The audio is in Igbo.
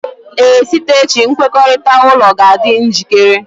Ee, site echi nkwekọrịta ụlọ ga-adị njikere